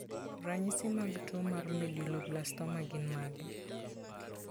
Ranyisi mag tuwo mar Medulloblastoma gin mage?